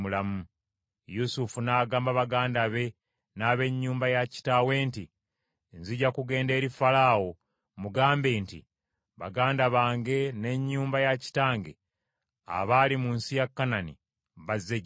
Yusufu n’agamba baganda be n’ab’ennyumba ya kitaawe nti, “Nzija kugenda eri Falaawo mugambe nti, ‘Baganda bange n’ennyumba ya kitange abaali mu nsi ya Kanani bazze gye ndi.